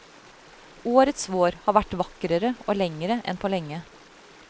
Årets vår har vært vakrere og lengre enn på lenge.